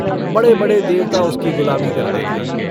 बड़े-बड़े देवता उसकी गुलामी करते थे।